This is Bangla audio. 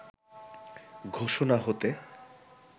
ঘোষণা হতে